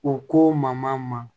U ko ma